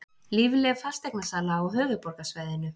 Lífleg fasteignasala á höfuðborgarsvæðinu